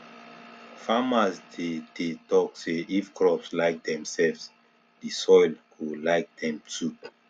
farmers dey dey talk say if crops like themselves the soil go like them too